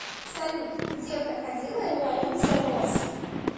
салют где проходила революция роз